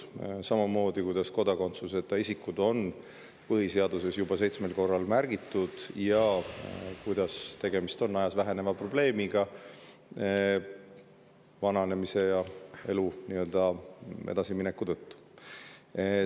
Samamoodi, et kodakondsuseta isikuid on põhiseaduses seitsmel korral märgitud ja et tegemist on ajas väheneva probleemiga vananemise ja elu edasimineku tõttu.